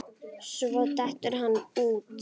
Svo dettur hann út.